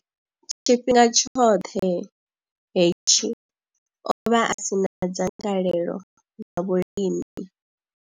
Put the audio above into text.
Tshifhinga tshoṱhe hetshi, o vha a si na dzangalelo ḽa vhulimi.